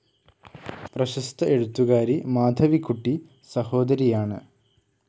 പ്രശസ്ത എഴുത്തുകാരി മാധവികുട്ടി സഹോദരിയാണ്.